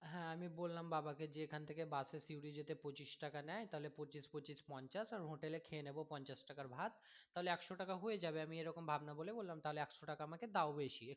হ্যাঁ আমি বললাম বাবা কে যে এখান থেকে bus এ সিউড়ি যেতে পঁচিশ টাকা নেয় তাহলে পঁচিশ পঁচিশ পঞ্চাশ আর hotel এ খেয়ে নেবো পঞ্চাশ টাকার ভাত তাহলে একশো টাকা হয়ে যাবে আমি এরকম ভাবনা বলে তারপরে একশো টাকা আমাকে দাও বেশি